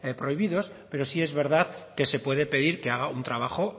prohibidos pero sí es verdad que se puede pedir que haga un trabajo